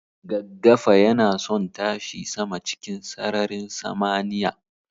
Gaggafayanason tashi sama cikin sararin samaniya